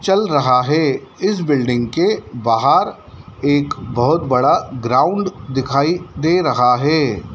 चल रहा है इस बिल्डिंग के बाहर एक बहुत बड़ा ग्राउंड दिखाई दे रहा है।